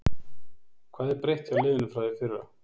Hvað er breytt hjá liðinu frá því í fyrra?